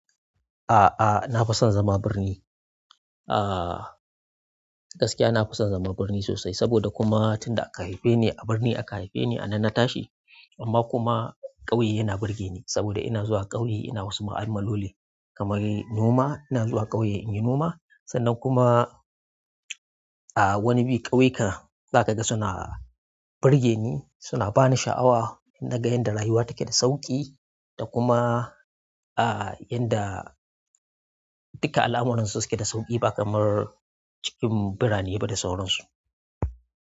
A'a, na fi son zama birni. Ah, gaskiya na fi son zama birni sosai saboda kuma tunda aka haife ni a birni aka haife ni a nan na tashi. Amma kuma ƙauye yana burge ni saboda ina zuwa ƙauye ina wasu ma'amaloli kamar noma. Ina zuwa ƙauye in yi noma sannan kuma, ah wani bi ƙauyu ka, za ka ga suna burge ni, suna ba ni sha'awa nagai yanda rayuwa take da sauƙi da kuma ah yanda duka al'amuransu suke da sauƙi ba kamar cikin birane ba da sauransu.